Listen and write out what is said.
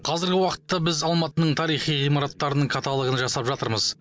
қазіргі уақытта біз алматының тарихи ғимараттарының каталогын жасап жатырмыз